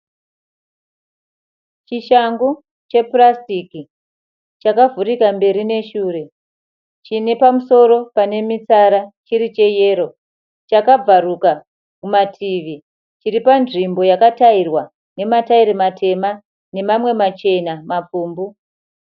Chishangu chepurasitiki chakavhurika kumberi neshure chine pamusoro panemitsara chiri cheyero chakabvaruka kumativi chiri panzvimbo yakatairwa nematairi matema nemamwe machena mapfumbu.